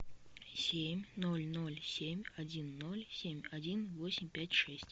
семь ноль ноль семь один ноль семь один восемь пять шесть